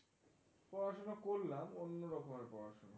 পড়াশোনা করলাম অন্য রকমের পড়াশোনা.